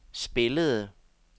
spillede